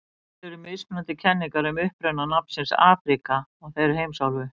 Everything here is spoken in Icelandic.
Til eru mismunandi kenningar um uppruna nafnsins Afríka á þeirri heimsálfu.